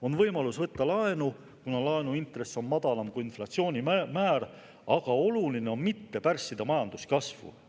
On võimalus võtta laenu, kuna laenuintress on madalam kui inflatsioonimäär, kuid oluline on mitte pärssida majanduskasvu.